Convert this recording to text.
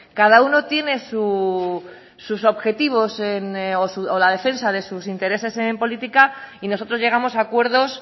cada uno tiene sus objetivos o la defensa de sus intereses en política y nosotros llegamos a acuerdos